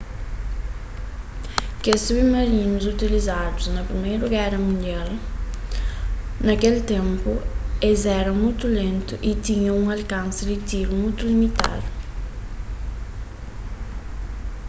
kes submarinus utilizadu na priméra y na sigunda géra mundial na kel ténpu es éra mutu lentu y tinha un alkansi di tiru mutu limitadu